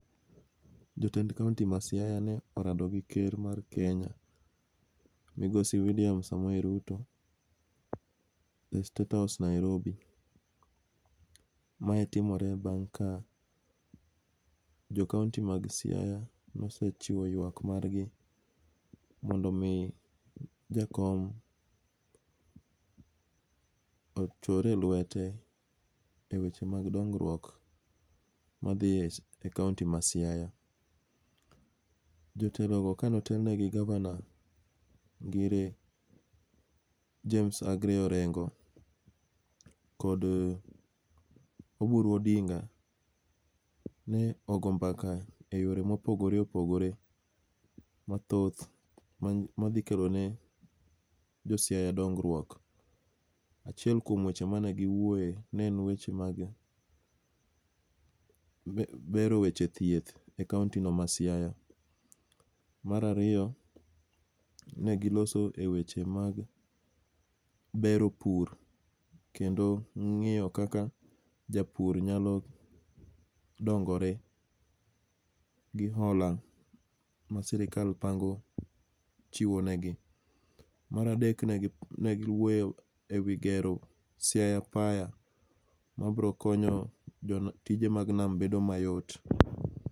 Jotend Kaunti ma Siaya ne orado gi ker mar Kenya Migosi William Samoei Ruto e statehouse Nairobi. Mae timore bang' ka jo kaunti mag Siaya ne osechiwo ywak margi mondo omi jakom ochore lwete e weche mag dongruok ma dhi e,e kaunti ma Siaya. Jotelo go ka ne otelne gi gavana James Aggrey Orengo kod Oburu Odinga, ne ogo mbaka e yore ma opogore opogore mathoth, ma, ma dhi kelone josiaya dongruok. Achiel kuom weche mane gi wuoye, ne en weche mag bero weche thieth e kaunti no ma Siaya. Mar ariyo ne giloso e weche mag bero pur, kendo ngíyo kaka japur nyalo dongore gi hola ma sirkal pango chiwo ne gi. Mar adek negi, negi wuoye e wi gero Siaya pier mabiro konyo tije mag nam bedo mayot.